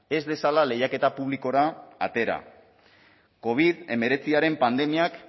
ez dezala lehiaketa publikora atera covid hemeretziaren pandemiak